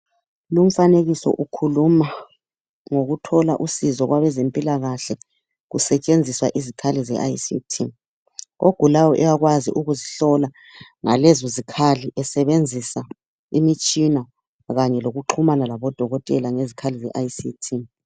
Lumfanekiso ukhuluma ngokuthola usizo kwabezempilakahle kusetshenziswa izikhali ze ICT. Ogulayo uyakwazi ukuzihlola ngalezo zikhali esebenzisa imitshina kanye lokuxhumana labodokotela ngezikhali zeICT